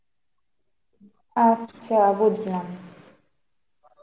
আচ্ছা বুঝলাম.